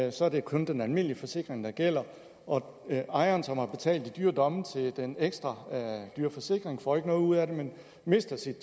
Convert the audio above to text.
og så er det kun den almindelige forsikring der gælder og ejeren som har betalt i dyre domme til den ekstra dyre forsikring får ikke noget ud af det men mister sit